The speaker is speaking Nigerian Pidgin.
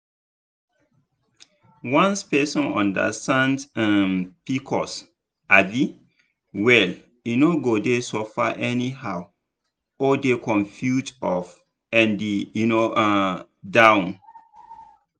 once person understand um pcos um well e no go dey suffer anyhow or dey confused up and um down.